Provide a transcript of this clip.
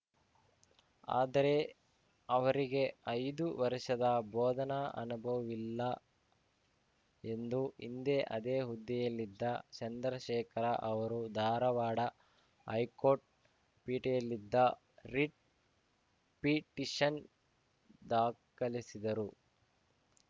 ಆದರೆ ಅವರಿಗೆ ಐದು ವರ್ಷದ ಬೋಧನಾ ಅನುಭವವಿಲ್ಲ ಎಂದು ಹಿಂದೆ ಅದೇ ಹುದ್ದೆಯಲ್ಲಿದ್ದ ಚಂದ್ರಶೇಖರ ಅವರು ಧಾರವಾಡ ಹೈಕೋರ್ಟ್‌ ಪೀಠೇಯಲ್ಲಿದ್ದ ರಿಟ್‌ ಪಿಟಿಷನ್‌ ದಾಖಲಿಸಿದರು